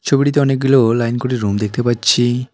ছবিটিতে অনেকগুলো লাইন করে রুম দেখতে পাচ্ছি।